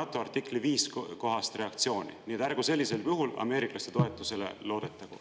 NATO artikli 5 kohast reaktsiooni, nii et ärgu sellisel juhul ameeriklaste toetusele loodetagu.